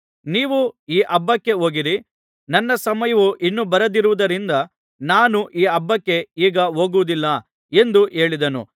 ನೀವು ಈ ಹಬ್ಬಕ್ಕೆ ಹೋಗಿರಿ ನನ್ನ ಸಮಯವು ಇನ್ನೂ ಬಾರದಿರುವುದರಿಂದ ನಾನು ಈ ಹಬ್ಬಕ್ಕೆ ಈಗ ಹೋಗುವುದಿಲ್ಲ ಎಂದು ಹೇಳಿದನು